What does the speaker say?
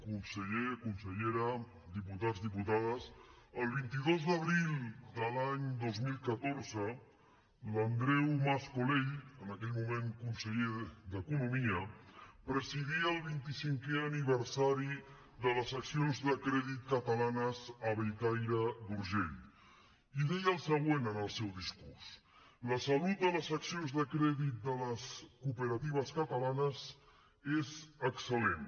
conseller consellera diputats diputades el vint dos d’abril de l’any dos mil catorze l’andreu mas colell en aquell moment conseller d’economia presidia el vint i cinquè aniversari de les seccions de crèdit catalanes a bellcaire d’urgell i deia el següent en el seu discurs la salut de les seccions de crèdit de les cooperatives catalanes és excel·lent